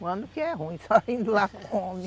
O ano que é ruim só indo lá